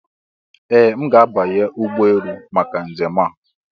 Ee! M ga-abanye ụgbọ elu maka njem a.